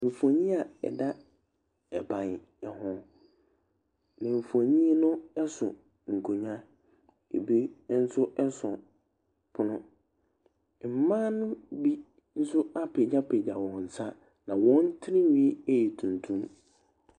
Mfonin a ɛda ban ho Mfonin no so nkonnwa. Bi nso so pono. Mmaa no bi nso apagyapagya wɔn nsa, na wɔn tirinwi yɛ tuntum.